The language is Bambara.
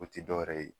O tɛ dɔwɛrɛ ye